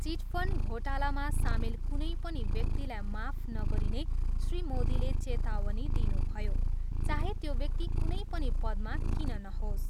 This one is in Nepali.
चिटफन्ड घोटालामा सामेल कुनै पनि व्यक्तिलाई माफ नगरिने श्री मोदीले चेतावनी दिनुभयो, चाहे त्यो व्यक्ति कुनै पनि पदमा किन नहोस्।